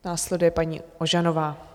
Následuje paní Ožanová.